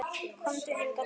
Komdu hingað til mín!